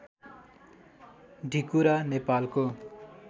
ढिकुरा नेपालको